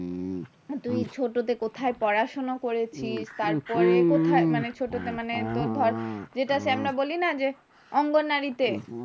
তুই ছোট তে কোথায় পড়াশোনা করেছিস, তার পরে কোথায় মানে ছোট তে মানে তোর ধর যেটা সে আমরা বলি না অঙ্গনারী তে।